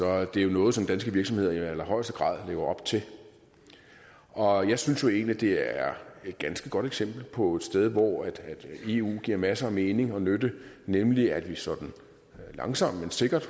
er jo noget som danske virksomheder i allerhøjeste grad lever op til og jeg synes egentlig det er et ganske godt eksempel på et sted hvor eu giver masser af mening og nytte nemlig at vi sådan langsomt men sikkert